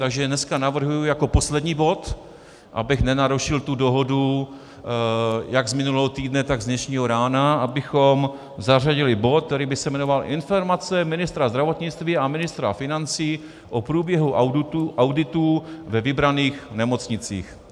Takže dneska navrhuji jako poslední bod, abych nenarušil tu dohodu jak z minulého týdne, tak z dnešního rána, abychom zařadili bod, který by se jmenoval Informace ministra zdravotnictví a ministra financí o průběhu auditu ve vybraných nemocnicích.